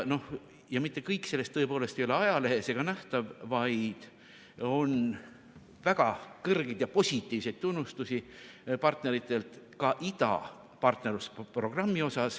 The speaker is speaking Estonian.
Ja mitte kõik sellest tõepoolest ei ole ajalehes ega nähtav, vaid on väga kõrgeid ja positiivseid tunnustusi partneritelt, ka idapartnerlusprogrammi kohta.